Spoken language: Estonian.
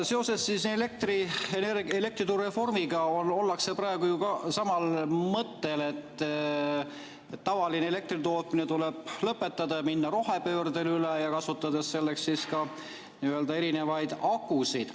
Seoses elektriturureformiga ollakse praegu ju samal mõttel, et tavaline elektritootmine tuleb lõpetada ja minna rohepöördele üle ja kasutada selleks ka erinevaid nii-öelda akusid.